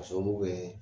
K'a sababu kɛ